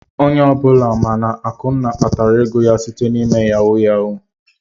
Onye ọbụla ma na Akunna kpatara ego ya site n'ịme yahu yahu.